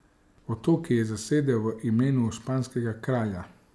Otoke je zasedel v imenu španskega kralja.